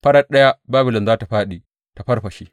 Farat ɗaya Babilon za tă fāɗi ta farfashe.